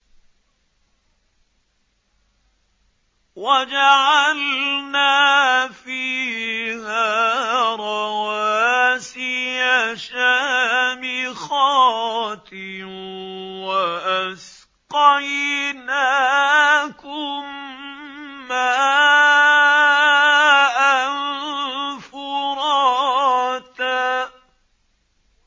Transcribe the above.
وَجَعَلْنَا فِيهَا رَوَاسِيَ شَامِخَاتٍ وَأَسْقَيْنَاكُم مَّاءً فُرَاتًا